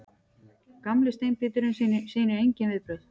Gamli steinbíturinn sýnir engin viðbrögð.